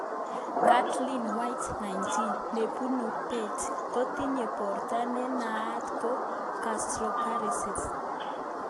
Caitlin White,19, nebunu perth, kotinye borto ne naat ko gastroparesis